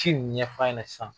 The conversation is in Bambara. Si in ɲɛfa ɲɛnɛ sisan.